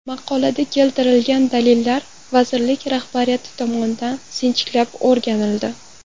Maqolada keltirilgan dalillar vazirlik rahbariyati tomonidan sinchiklab o‘rganildi.